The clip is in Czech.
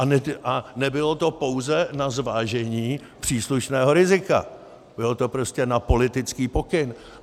A nebylo to pouze na zvážení příslušného rizika, bylo to prostě na politický pokyn.